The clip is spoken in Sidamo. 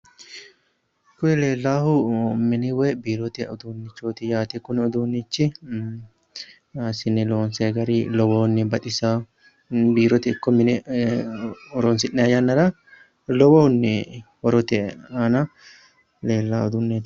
Koye leellaahu mini woyi biirote uduunnichooti yaate. biirote uduunnichi assine loonsayi gari lowonta baxisaa. biirote ikko mine horonsi'nayia yannara lowohunni horote aana leellaa uduunneeti.